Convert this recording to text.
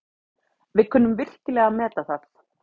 Við kunnum virkilega að meta það.